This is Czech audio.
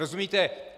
Rozumíte?